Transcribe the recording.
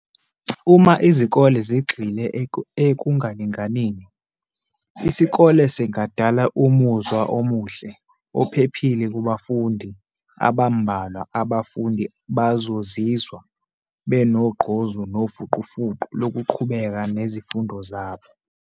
Uma izikole zigxile ekungalinganini, isikole singadala umuzwa omuhle, ophephile kubafundi abambalwa abafundi bazozizwa beno gqozu nofuqu fuqu loku qhubeka nezifundo zabo.